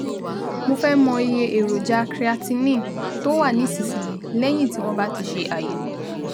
Mo fẹ́ mọ iye èròjà creatinine tó wà nísinsìnyí lẹ́yìn tí wọ́n bá ti ṣe àyẹ̀wò